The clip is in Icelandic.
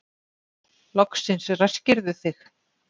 Loksins ræskirðu þig.